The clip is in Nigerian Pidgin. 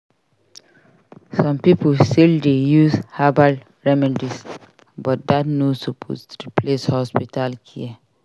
Some pipo still dey use herbal remedies but dat no suppose replace hospital care.